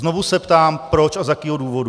Znovu se ptám, proč a z jakého důvodu.